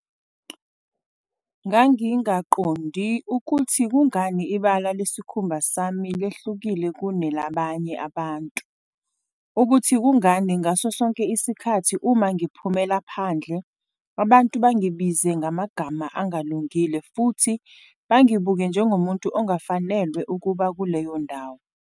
"Ngangingaqondi ukuthi kungani ibala lesikhumba sami lehlukile kunelabanye abantu, ukuthi kungani ngasosonke isikhathi uma ngiphumela phandle abantu bangibize ngamagama angalungile futhi bangibuke njengomuntu ongafanelwe ukuba kuleyo ndawo."